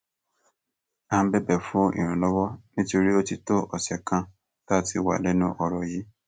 à ń bẹbẹ fún ìrànlọwọ nítorí ó ti tó ọsẹ kan tá a ti wà lẹnu ọrọ yìí